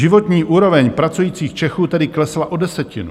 Životní úroveň pracujících Čechů tedy klesla o desetinu.